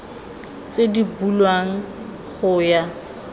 tse di bulwang go ya